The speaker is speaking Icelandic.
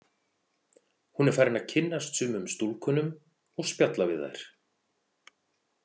Hún er farin að kynnast sumum stúlkunum og spjalla við þær.